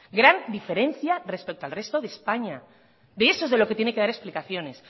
gran diferencia respecto al resto de españa de eso es de lo que tiene que dar explicaciones